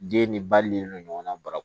Den ni ba ni ɲɔgɔn bara